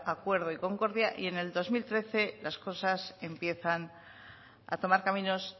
acuerdo y concordia y en el dos mil trece las cosas empiezan a tomar caminos